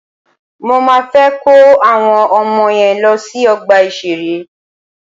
Mọ máa fẹ́ kó àwọn ọmọ yen lọ sí ọgbà ìṣẹ̀rẹ́.